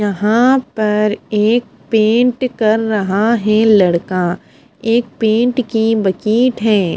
यहां पर एक पेंट कर रहा है लड़का एक पेंट की बकीट है।